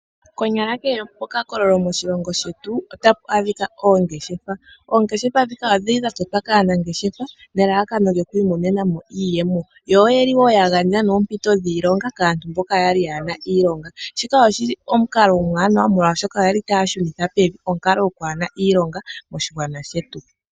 Konyala kehe mokakololo moshilongo shetu otamu adhika oongeshefa, oongeshefa dhika odhili dha totwa kaanangeshefa nelalakano lyoku imonena mo iiyemo yo oye li ya gandja oompito dhiilonga kaantu mboka yaana iilonga shika oshili omukalo omuwanawa oshoka oyeli taya shunitha pevi onkalo yaantu kaye na iilonga moshigwana shetu.